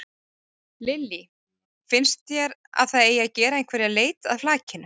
Lillý: Finnst þér að það eigi að gera einhverja leit að flakinu?